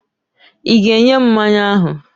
I ga-enye m mmanya ahụ!